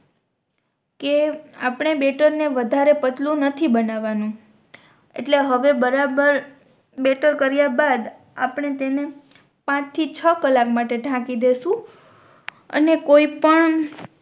કે આપણે બેટર ને વધારે પાતળું નથી બનાવાનું એટલે હવે બરાબર બેટર કર્યા બાદ આપણે તેને પાંચ થી છ કલાક માટે ધાકી દેસુ અને કોઈ પણ